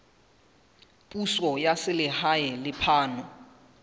puso ya selehae le phano